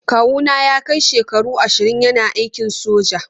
Kawu na ya kai shekaru ashirin yana aikin soja.